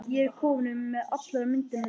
Ég er komin með allar myndirnar, Dídí.